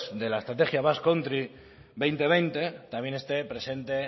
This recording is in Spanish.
de la estrategia basque country dos mil veinte también esté presente